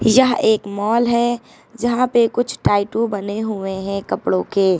यह एक माल है जहां पे कुछ टाइटू बने हुए हैं कपड़ों के।